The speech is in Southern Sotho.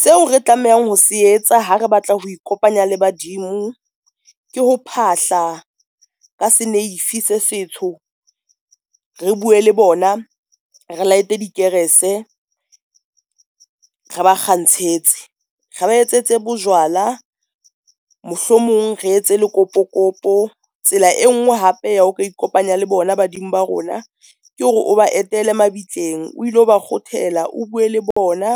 Seo re tlamehang ho se etsa ha re batla ho ikopanya le badimo ke ho phahla ka seneifi se setsho, re bue le bona re light-e di kerese re ba kgantshetse, re ba etsetse bojwala, mohlomong re etse le kopokopo. Tsela e ngwe hape ya ho ka ikopanya le bona badimo ba rona ke hore o ba etele mabitleng, o ilo ba kguothela, o bue le bona